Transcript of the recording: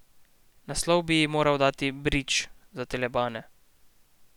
Naslov bi ji morali dati Bridž za telebane.